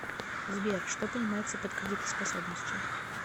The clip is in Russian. сбер что понимается под кредитоспособностью